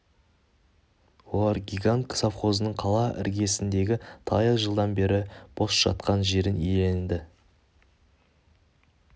олар гигант совхозының қала іргесіндегі талай жылдан бері бос жатқан жерін иеленді